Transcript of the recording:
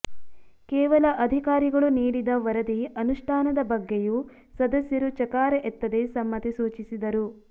ಕೇವಲ ಅಧಿಕಾರಿಗಳು ನೀಡಿದ ವರದಿ ಅನುಷ್ಠಾನದ ಬಗ್ಗೆಯೂ ಸದಸ್ಯರು ಚಕಾರ ಎತ್ತದೆ ಸಮ್ಮತಿ ಸೂಚಿಸಿದರು